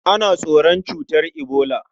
Ana tsoron cutar ebola.